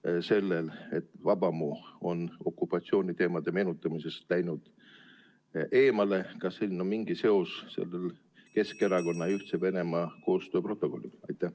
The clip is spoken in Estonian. Kas sellel, et Vabamu on okupatsiooniteemade meenutamisest läinud eemale, on mingi seos Keskerakonna ja Ühtse Venemaa koostööprotokolliga?